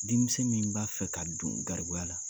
Denmisɛn min b'a fɛ ka don garibuya la